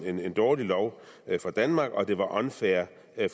en dårlig lov for danmark og det var unfair